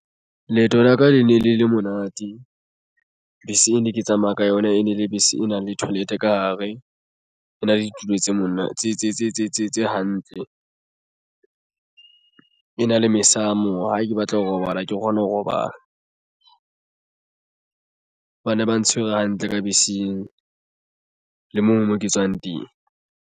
Leeto la ka le ne le le monate bese e ne ke tsamaya ka yona e ne le bese. E na le toilet ka hare e na le ditulo tse mona tse hantle e na le mesamo. Ha ke batla ho robala ke kgona ho robala. Ba ne ba ntshwere hantle ka beseng le moo mo ke tswang teng.